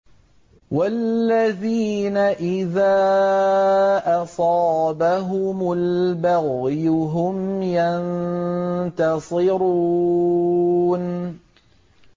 وَالَّذِينَ إِذَا أَصَابَهُمُ الْبَغْيُ هُمْ يَنتَصِرُونَ